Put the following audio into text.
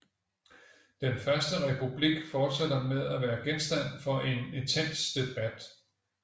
Den første republik fortsætter med at være genstand for en intens debat